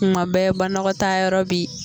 Kuma bɛɛ banakɔtaayɔrɔ bɛ yen